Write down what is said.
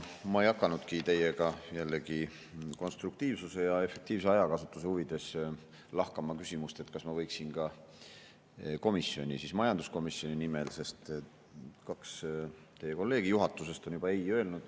Ma ei hakanudki teiega jällegi konstruktiivsuse ja efektiivse ajakasutuse huvides lahkama küsimust, kas ma võiksin ka komisjoni, majanduskomisjoni nimel, sest kaks teie kolleegi juhatusest on juba ei öelnud.